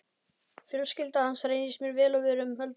Fjölskylda hans reyndist mér vel og við höldum enn sambandi.